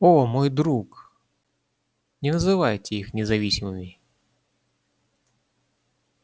о мой друг не называйте их независимыми